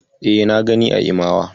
E, na gani a Imawa.